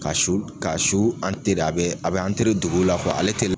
Ka su ka su a bɛ a bɛ dogo la ale tɛ